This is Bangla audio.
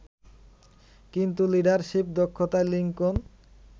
কিন্তু লিডারশিপ দক্ষতায় লিংকন